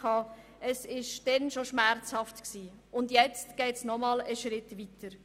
Es war schon damals schmerzhaft und jetzt geht es noch einmal einen Schritt weiter.